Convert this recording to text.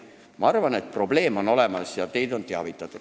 Ma arvan, et probleem on olemas ja teid on teavitatud.